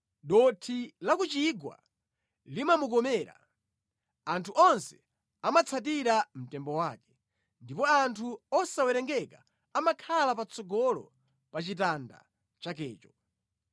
Dothi la ku chigwa limamukomera; anthu onse amatsatira mtembo wake, ndipo anthu osawerengeka amakhala patsogolo pa chitanda chakecho.